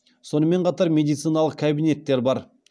сонымен қатар медициналық кабинеттер бар